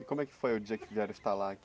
E como é que foi o dia que vieram instalar aqui?